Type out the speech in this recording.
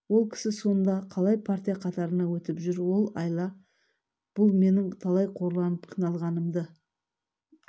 ол кісі сонда қалай партия қатарына өтіп жүр ол айла бұл менің талай қорланып қиналғанымды